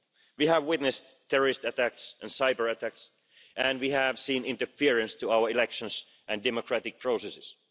We have witnessed terrorist attacks and cyber attacks, and we have seen interference in our elections and democratic processes.